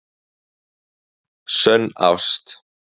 Sönn ást